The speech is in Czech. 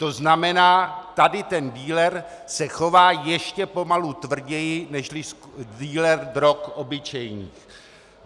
To znamená, tady ten dealer se chová ještě pomalu tvrději nežli dealer drog obyčejných.